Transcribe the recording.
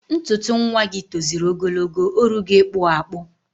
Ntuntu nwagi toziri ogologo, orugo ikpu akpu